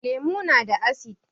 Lemu na da asid